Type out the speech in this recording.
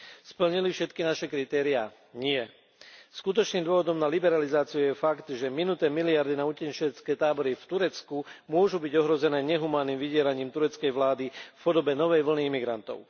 Splnili všetky naše kritéria? Nie! Skutočným dôvodom na liberalizáciu je fakt, že minuté miliardy na utečenecké tábory v Turecku môžu byť ohrozené nehumánnym vydieraním tureckej vlády v podobe novej vlny migrantov.